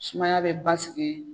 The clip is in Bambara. Sumaya bɛ basigi.